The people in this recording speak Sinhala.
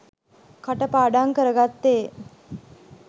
කටපාඩං කරගත්තේ